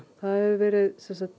hefur verið